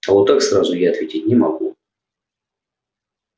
а вот так сразу я ответить не могу